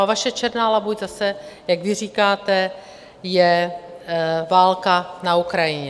A vaše černá labuť zase, jak vy říkáte, je válka na Ukrajině.